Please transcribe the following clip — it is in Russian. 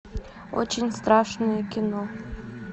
очень страшное кино